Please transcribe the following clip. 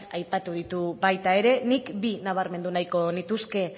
aipatu ditu baita ere nik bi nabarmendu nahiko nituzke